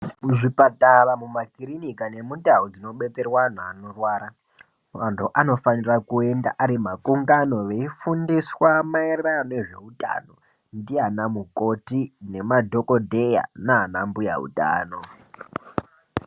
Muzvipatara muma kirinika nemundau dzinobetserwa anhu anorwara, muntu anofanirwa kuenda arimakungano veifundiswa mayererano nezveutano ndianamukoti nemadhokodheya nana mbuya utano.